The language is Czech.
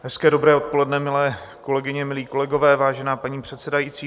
Hezké dobré odpoledne, milé kolegyně, milí kolegové, vážená paní předsedající.